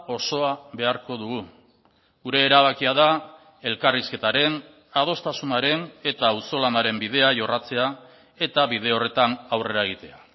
osoa beharko dugu gure erabakia da elkarrizketaren adostasunaren eta auzolanaren bidea jorratzea eta bide horretan aurrera egitea